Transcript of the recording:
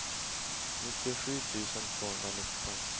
nittiosju tusen tvåhundranitton